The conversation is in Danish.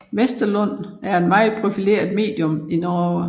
Westerlund var et meget profileret medium i Norge